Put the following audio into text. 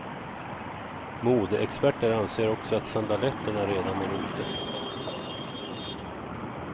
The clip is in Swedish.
Modeexperter anser också att sandaletterna redan är ute.